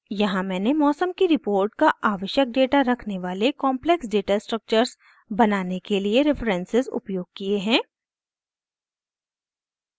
यहाँ मैंने मौसम की रिपोर्ट का आवश्यक डेटा रखने वाले कॉम्प्लेक्स डेटास्ट्रक्टर्स बनाने के लिए references उपयोग किये हैं